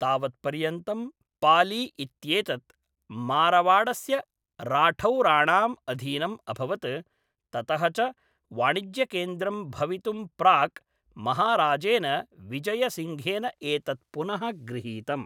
तावत्पर्यन्तं पाली इत्येतत्, मारवाडस्य राठौराणाम् अधीनम् अभवत्, ततः च वाणिज्यकेन्द्रं भवितुं प्राक्, महाराजेन विजयसिंघेन एतत् पुनः गृहीतम्।